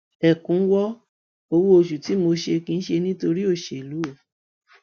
ẹkúnwọ owóoṣù tí mo ṣe kì í ṣe nítorí òṣèlú o